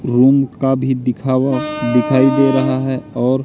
room का भी दिखा वह दिखाई दे रहा है और--